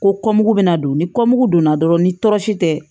Ko bɛna don ni donna dɔrɔn ni tɔɔrɔ si tɛ